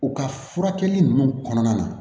U ka furakɛli ninnu kɔnɔna na